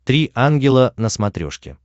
три ангела на смотрешке